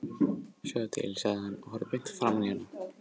Sjáðu til, sagði hann og horfði beint framan í hana.